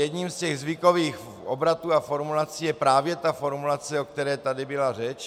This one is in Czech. Jedním z těch zvykových obratů a formulací je právě ta formulace, o které tady byla řeč.